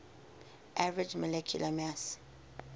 average molecular mass